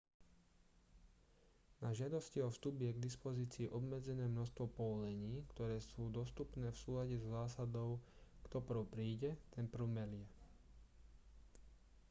na žiadosti o vstup je k dispozícii obmedzené množstvo povolení ktoré sú dostupné v súlade so zásadou kto prv príde ten prv melie